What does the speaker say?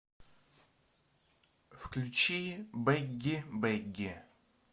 включи бэгги бэгги